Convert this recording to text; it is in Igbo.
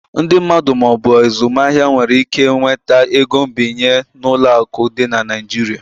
Ndị mmadụ ma ọ bụ azụmaahịa nwere ike nweta ego nbinye n'ụlọ akụ dị na Nigeria.